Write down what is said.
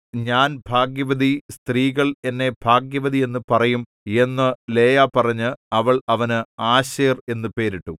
ഞാൻ ഭാഗ്യവതി സ്ത്രീകൾ എന്നെ ഭാഗ്യവതിയെന്നു പറയും എന്നു ലേയാ പറഞ്ഞ് അവൾ അവന് ആശേർ എന്നു പേരിട്ടു